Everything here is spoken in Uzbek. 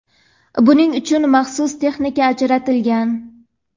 Buning uchun maxsus texnika ajratilgan.